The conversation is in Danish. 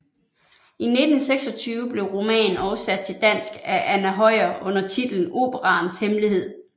I 1926 blev romanen oversat til dansk af Anna Høyer under titlen Operaens Hemmelighed